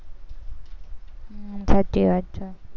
હમ સાચી વાત છે.